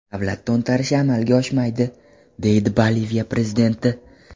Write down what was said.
Davlat to‘ntarishi amalga oshmaydi”, deydi Boliviya prezidenti.